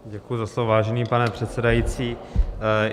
Děkuji za slovo, vážený pane předsedající.